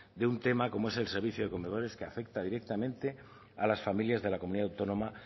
de un tema como es el servicio de comedores que afecta directamente a las familias de la comunidad autónoma